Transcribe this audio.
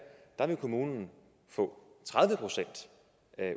vil kommunen få tredive procent